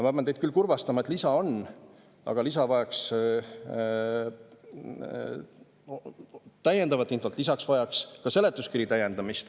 Ma pean teid kurvastama, et lisa on olemas, aga see vajaks täiendavat infot, lisaks tuleks seletuskirja täiendada.